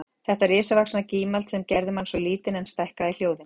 Þetta risavaxna gímald sem gerði mann svo lítinn en stækkaði hljóðin